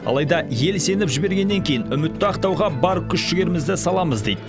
алайда ел сеніп жібергеннен кейін үмітті ақтауға бар күш жігерімізді саламыз дейді